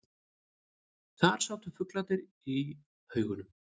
Þar sátu flugurnar í haugum.